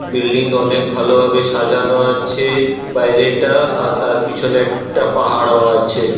বিল্ডিংটা অনেক ভালো ভাবে সাজানো আছে | বাইরেটা আর তার পিছনে একটা পাহাড়ও আছে।